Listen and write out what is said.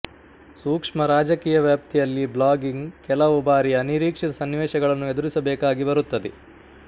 ಸೂಕ್ಷ್ಮ ರಾಜಕೀಯ ವ್ಯಾಪ್ತಿಯಲ್ಲಿ ಬ್ಲಾಗಿಂಗ್ ಕೆಲವು ಬಾರಿ ಅನಿರೀಕ್ಷಿತ ಸನ್ನಿವೇಶಗಳನ್ನು ಎದುರಿಸಬೇಕಾಗಿ ಬರುತ್ತದೆ